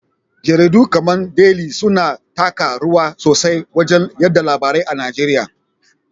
Jaridu kamar Deli suna taka rawa sosai wajen yaɗa labarai a Nigeriya.